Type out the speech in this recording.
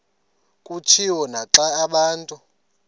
kutshiwo naxa abantu